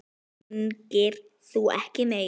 Núna hringir þú ekki meir.